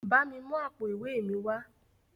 Bámi mú àpò ìwé mi wá.